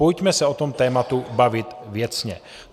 Pojďme se o tom tématu bavit věcně.